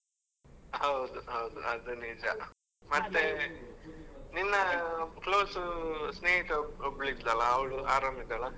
ಹೌದು ಹೌದು ಅದ್ ನಿಜ, ಮತ್ತೆ ನಿನ್ನ close ಸ್ನೇಹಿತೆ ಒಬ್ಳ್ ಇದ್ಲಲ್ಲ ಅವ್ಳ್ ಆರಾಮಿದಾಳ?